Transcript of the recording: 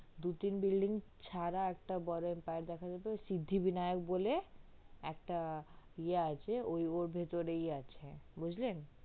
দু তিন building সারা একটা বড়ো empire দেখা সিদ্ধিবিনায়ক বলে একটা ইয়া আছে ওর ভিড়তেই আছে বুজলেন